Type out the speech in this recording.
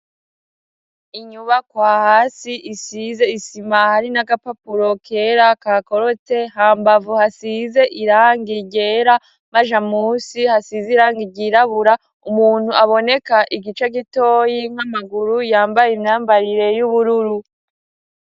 Inyubakwa hasi isize isima, hari n'agapapuro kera kakorotse, hambavu hasize irangi ryera, maja musi hasize irangi ryirabura, umuntu aboneka igice gitoyi nk'amaguru, yambaye imyambarire y'ubururu.